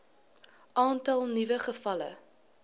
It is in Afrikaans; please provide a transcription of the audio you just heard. aantal nuwe gevalle